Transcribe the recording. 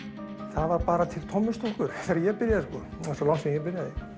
það var bara til þegar ég byrja sko það er svo langt síðan ég byrjaði